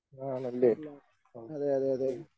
ആണല്ലേ ആ ശരി.